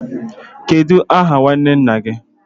Kedu aha nnwanne nna gi?